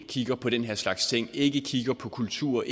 kigger på den her slags ting kigger på kultur